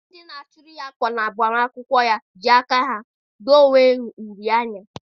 Ndị na a chụrụ ya ákwà na-agbamakwụkwọ ya jiri aka ha dee onwe ha uri n'ihu.